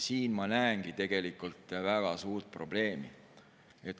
Siin ma näengi tegelikult väga suurt probleemi.